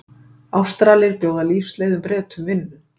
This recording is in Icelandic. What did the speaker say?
Ástralir bjóða lífsleiðum Bretum vinnu